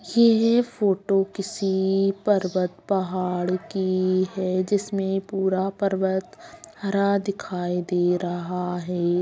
येह फोटो किसी पर्वत पहाड़ की है जिसमे पूरा पर्वत हरा दिखाई दे रहा है।